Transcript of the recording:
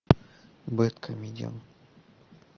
бедкомедиан